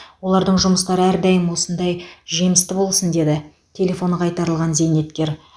олардың жұмыстары әрдайым осындай жемісті болсын деді телефоны қайтарылған зейнеткер